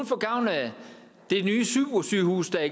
få gavn af det nye supersygehus der er